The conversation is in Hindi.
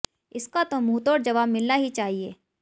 इसका तो मुंह तोड़ जवाब मिलना ही चाहिए